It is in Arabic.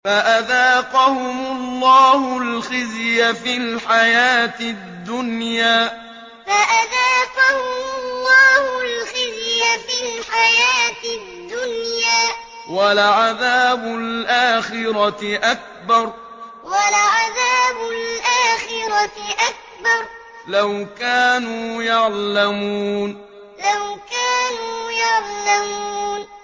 فَأَذَاقَهُمُ اللَّهُ الْخِزْيَ فِي الْحَيَاةِ الدُّنْيَا ۖ وَلَعَذَابُ الْآخِرَةِ أَكْبَرُ ۚ لَوْ كَانُوا يَعْلَمُونَ فَأَذَاقَهُمُ اللَّهُ الْخِزْيَ فِي الْحَيَاةِ الدُّنْيَا ۖ وَلَعَذَابُ الْآخِرَةِ أَكْبَرُ ۚ لَوْ كَانُوا يَعْلَمُونَ